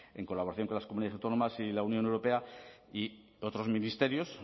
en colaboración con las comunidades autónomas y la unión europea y otros ministerios